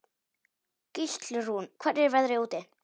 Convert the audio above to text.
Gíslrún, hvernig er veðrið úti?